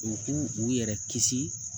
U k'u yɛrɛ kisi